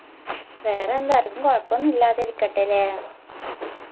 വേറെന്താ ആരിക്കും കൊഴപ്പൊന്നു ഇല്ലാതിരിക്കട്ടെ അലേ